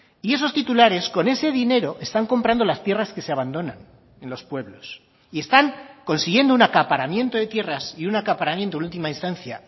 y esos titulares con ese dinero están comprando las tierras que se abandonan en los pueblos y están consiguiendo un acaparamiento de tierras y un acaparamiento en última instancia